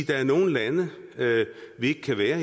der er nogle lande vi ikke kan være